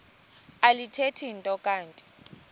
alithethi nto kanti